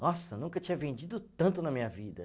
Nossa, nunca tinha vendido tanto na minha vida.